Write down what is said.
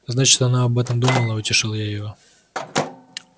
значит она об этом думала утешил я его